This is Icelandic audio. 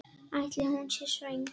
Ætli hún sé svöng?